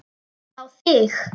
Á þig.